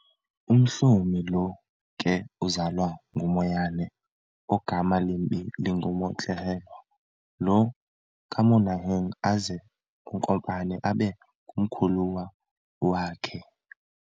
UMhlomi lo ke uzalwa nguMoyane ogama limbi linguMotlohelwa loo kaMonaheng, aze uNkopane abe ngumkhuluwa wakhe.